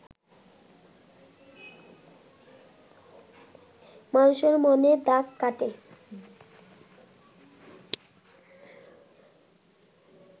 মানুষের মনে দাগ কাটে